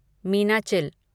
Meenachil